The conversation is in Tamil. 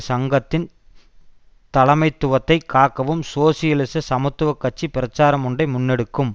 சங்கத்தின் தலைமைத்துவத்தை காக்கவும் சோசியலிச சமத்துவ கட்சி பிரச்சாரம் ஒன்றை முன்னெடுக்கும்